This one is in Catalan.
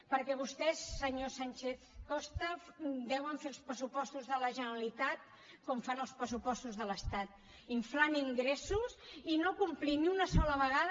perquè vostès senyor sánchez costa deuen fer els pressupostos de la generalitat com fan els pressupostos de l’estat inflant ingressos i no complint ni una sola vegada